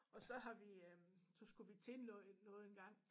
Og så har vi øh så skulle vi til noget noget en gang